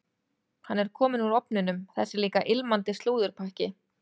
Hann er kominn úr ofninum, þessi líka ilmandi slúðurpakki.